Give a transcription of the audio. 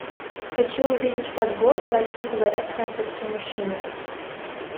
хочу увидеть подборку о чем говорят французские мужчины